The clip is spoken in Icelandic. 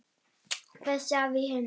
Besti afi í heimi.